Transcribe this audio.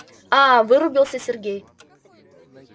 а вырубился сергей